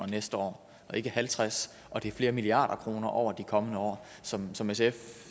næste år og ikke halvtreds million og det er flere milliarder kroner over de kommende år som som sf